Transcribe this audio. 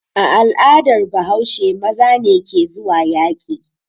A al'adar Bahaushe maza ne ke zuwa yaƙi.